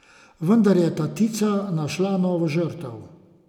Vendar je tatica našla novo žrtev.